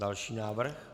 Další návrh.